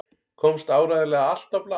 Komst áreiðanlega allt á blað?